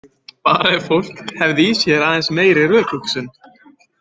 Bara ef fólk hefði í sér aðeins meiri rökhugsun.